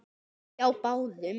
Hjá báðum.